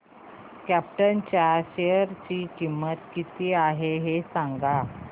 krypton च्या share ची किंमत किती आहे हे सांगा